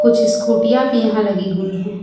छे स्कूटीया भी यहां लगी हुई हैं।